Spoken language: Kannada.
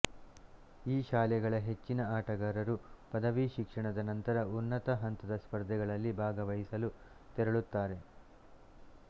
ಈ ಶಾಲೆಗಳ ಹೆಚ್ಚಿನ ಆಟಗಾರರು ಪದವಿ ಶಿಕ್ಷಣದ ನಂತರ ಉನ್ನತ ಹಂತದ ಸ್ಪರ್ಧೆಗಳಲ್ಲಿ ಭಾಗವಹಿಸಲು ತೆರಳುತ್ತಾರೆ